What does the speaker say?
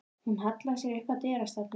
Hún hallaði sér upp að dyrastafnum.